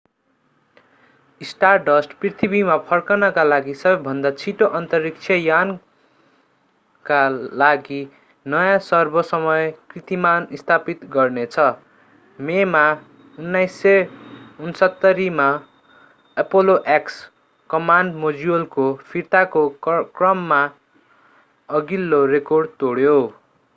stardust पृथ्वीमा फर्कनका लागि सबैभन्दा छिटो अन्तरिक्ष यानका लागि नयाँ सर्व-समय कीर्तिमान स्थापित गर्नेछ मेमा 1969 मा apollo x कमान्ड मोड्युलको फिर्ताको क्रममा अघिल्लो रेकर्ड तोड्यो